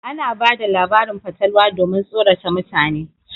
Ana bada labarin fatalwa domin tsorata mutane.